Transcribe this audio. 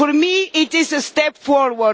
For me it is a step forward